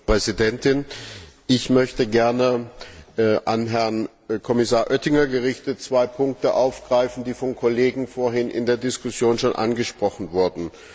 Frau Präsidentin! Ich möchte gern an Herrn Kommissar Oettinger gerichtet zwei Punkte aufgreifen, die von Kollegen vorhin in der Diskussion schon angesprochen wurden.